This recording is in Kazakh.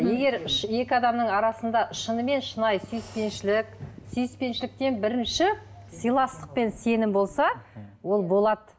егер екі адамның арасында шынымен шынайы сүйіспеншілік сүйіспеншіліктен бірінші сыйластық пен сенім болса ол болады